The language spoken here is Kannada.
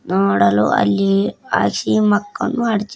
ನೋಡಲು ಅಲ್ಲಿ ಆಸಿ ಮಕ್ಕನು ಅಡಚಿ--